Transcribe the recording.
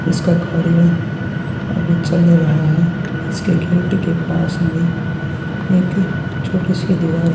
इसका कार्य अभी चल रहा है इसके गेट के पास में एक छोटी सी दीवाल --